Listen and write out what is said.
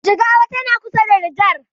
Jigawa tana kusa da nijer